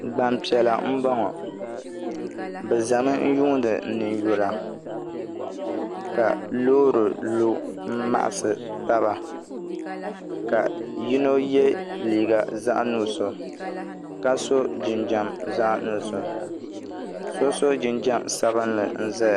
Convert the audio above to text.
Gbanpiɛla n bɔŋɔ bi ʒɛmi yuundi ninyula ka loori lu n maɣasi taba ka yino yɛ liiga zaɣ nuɣso ka so jinjɛm zaɣ nuɣso so so jinjɛm sabinli n ʒɛya